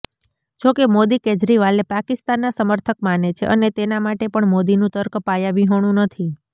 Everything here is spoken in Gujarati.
જોકે મોદી કેજરીવાલને પાકિસ્તાનના સમર્થક માને છે અને તેના માટે પણ મોદીનું તર્ક પાયાવિહોણું નથી